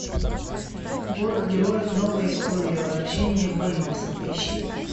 город героев новая история возвращение бэймакса поищи